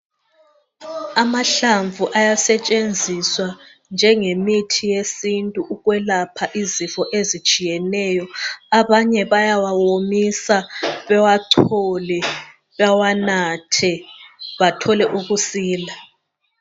Amahlamvu ayasetshenziswa njengemithi yesintu ukwelapha izifo ezitshiyeneyo. Abanye bayawawomisa bewachole bewanathe bathole ukusila